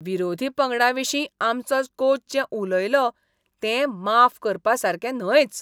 विरोधी पंगडाविशीं आमचो कोच जें उलयलो तें माफ करपासारकें न्हयच.